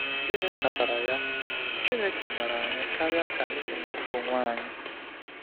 Gịnị kpatara ya, Chineke maara anyị karịa ka anyị si mata onwe anyị!